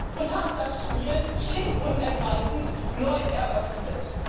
und das Spiel schlicht und ergreifend neu eröffnet.